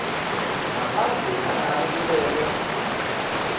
ngaphandle nangabe kubekwe